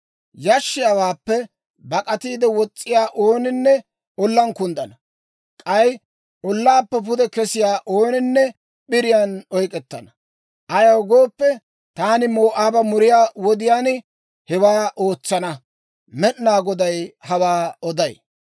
Yashshiyaawaappe bak'atiide wos's'iyaa ooninne ollaan kunddana; k'ay ollaappe pude kesiyaa ooninne p'iriyaan oyk'k'ettana. Ayaw gooppe, taani Moo'aaba muriyaa wodiyaan hewaa ootsana. Med'inaa Goday hawaa oday.